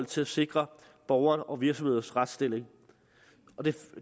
til at sikre borgerne og virksomhedernes retsstilling